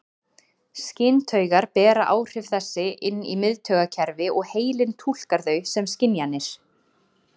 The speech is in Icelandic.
Skyntaugar bera áhrif þessi inn í miðtaugakerfi og heilinn túlkar þau sem skynjanir.